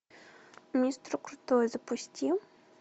мистер крутой запусти